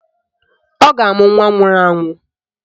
Ọ ga-amụ nwa nwụrụ anwụ